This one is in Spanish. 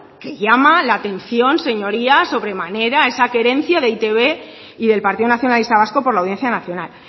que llama la atención señorías sobremanera esa querencia de e i te be y del partido nacionalista vasco por la audiencia nacional